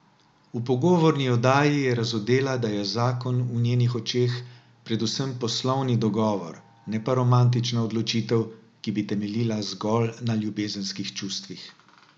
V pogovorni oddaji je razodela, da je zakon v njenih očeh predvsem poslovni dogovor, ne pa romantična odločitev, ki bi temeljila zgolj na ljubezenskih čustvih.